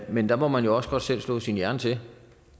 men der må man jo også godt selv slå sin hjerne til